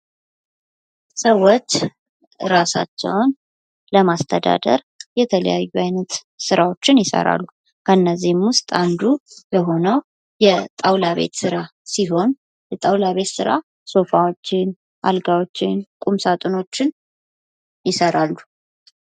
ሰዎች ራሳቸውን ለማስተዳደር የተለያዩ አይነት ስራዎችን ይሰራሉ ከእነዚህም ውስጥ አንዱ የሆነው የጣውላ ቤት ስራ ሲሆን የጣውላ ቤት ስራ አልጋዎችን ቁም ሳጥኖችን ይሰራሉ።